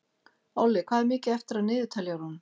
Olli, hvað er mikið eftir af niðurteljaranum?